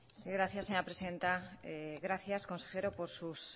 sí gracias señora presidenta gracias consejero por sus